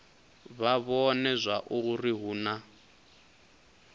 vha vhone zwauri hu na